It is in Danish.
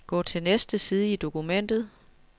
Gå til næste side i dokumentet.